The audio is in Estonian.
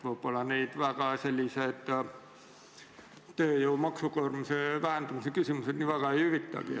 Võib-olla neid tööjõu maksukoormuse vähendamise küsimused nii väga ei huvitagi.